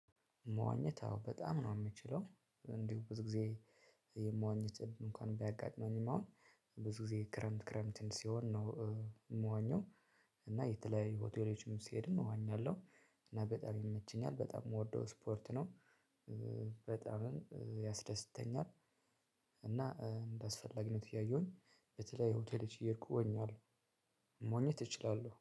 መዋኘት አዎ በጣም ነው የምችለው እንዲሁ ብዙ ጊዜ የመዋኘት እንኳን ቢያጋጥመኝም አሁን ብዙ ጊዜ ክረምት ክረምት ሲሆን ነው። የምዋኘው እና የተለያዩ ሆቴሎችም ሲሄድም እዋኛለሁ። እና በጣም ይመቸኛል። በጣም ምወደው ስፖርት ነው። በጣም ያስደስተኛል እና እንዳስፈለግነቱ እያየሁኝ በተለይ ሆቴሎች እየሄድኩ እወኛለሁ መዋኚት እችላለሁ።